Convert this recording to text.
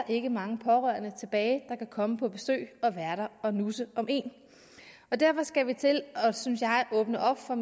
ikke mange pårørende tilbage der kan komme på besøg og være der og nusse om en derfor skal vi til synes jeg at åbne op for